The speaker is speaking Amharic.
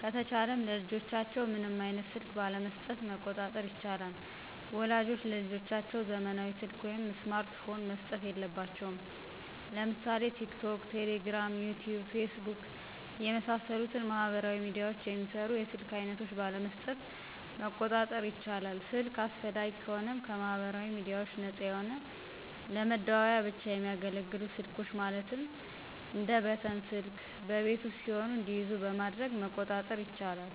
ከተቻለም ለልጆቻቸው ምንም አይነት ስልክ ባለመሥጠት መቆጣጠር ይቻላል። ወላጆች ለልጆቻቸው ዘመናዊ ሰልክ ወይም ስማርት ፖን መስጠት የለባቸውም። ለምሳሌ ቲክቶክ፣ ቴሌግራም፣ ዩቲዩብ፣ ፌስቡክ የመሣሠሉትን ማህበራዊ ሚድያዎችን የሚሰሩ የስልክ አይነቶች ባለመስጠት መቆጣጠር ይቻላል። ስልክ አስፈላጊ ከሆነም ከማህበራዊ ሚድያዎች ነፃ የሆነ ለመደዋወያ ብቻ የሚያገለግሉ ስልኮች ማለትም እንደ በተን ስልክ በቤት ውስጥ ሲሆኑ እንዲይዙ በማድረግ መቆጣጠር ይቻላል።